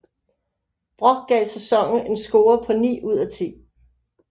Brock gav sæsonen en score på 9 ud af 10